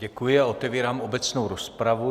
Děkuji a otevírám obecnou rozpravu.